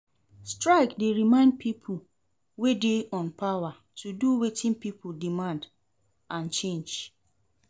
Strike dey remind people wey dey on power to do wetin people demand and change.